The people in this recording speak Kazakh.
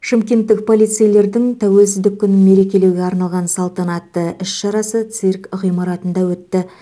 шымкенттік полицейлердің тәуелсіздік күнін мерекелеуге арналған салтанатты іс шарасы цирк ғимаратында өтті